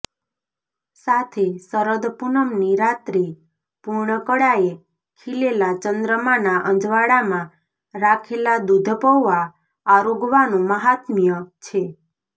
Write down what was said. સાથે શરદ પૂનમની રાત્રે પૂર્ણ કળાએ ખીલેલા ચંદ્રમાના અજવાળામાં રાખેલા દૂધપૌઆ આરોગવાનું મહાત્મય છે